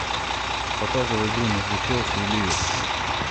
показывай игру между челси и ливер